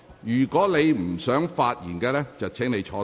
如果你不想發言，便請坐下。